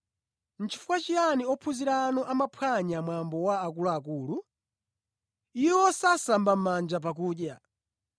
“Chifukwa chiyani ophunzira anu amaphwanya mwambo wa akuluakulu? Iwo sasamba mʼmanja pakudya!”